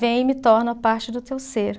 Vem e me torna parte do teu ser.